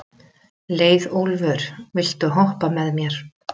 Leiðólfur, viltu hoppa með mér?